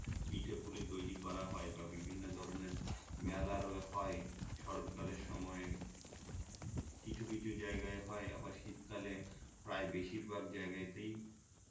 পিঠা পুলি তৈরী করা হয় বা বিভিন্ন ধরণের মেলা আরো হয় শরৎ কালের সময়ে কিছু কিছু জায়গায় হয় আবার শীতকালে প্রায় বেশিরভাগ জায়গাতেই